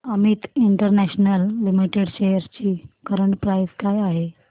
Amit international limited shares ची current price काय आहे